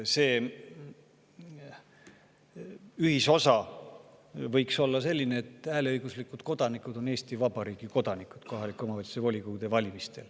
See ühisosa võiks olla selline, et hääleõiguslikud kodanikud kohaliku omavalitsuse volikogude valimistel on Eesti Vabariigi kodanikud.